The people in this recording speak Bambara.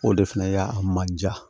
O de fɛnɛ ya a man diya